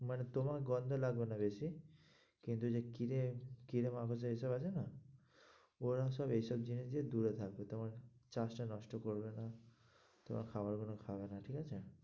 মানে তোমার গন্ধ লাগবে না বেশি কিন্তু যে কিরে কিরে মাকড় যা এইসব আছে না ওরা সব এইসব জিনিস থেকে দূরে থাকে, তোমার চাষটা নষ্ট করবে না তোমার খাবার গুলো খাবে না, ঠিক আছে?